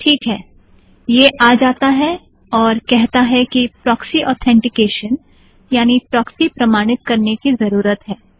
teak है यह आ जाता है और कहता है कि प्रोक्सी ऑथेंटिकेशन यानि प्रोक्सी प्रमाणित करने की ज़रूरत है